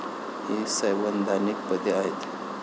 ही संवैधानिक पदे आहेत.